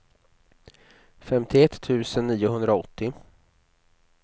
femtioett tusen niohundraåttio